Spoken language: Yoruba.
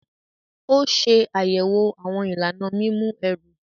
O ṣe ayẹwo awọn ìlànà mímú ẹru.